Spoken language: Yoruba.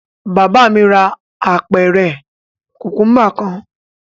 Bàbá mi ra apẹ̀rẹ̀ kùkúḿbà kan.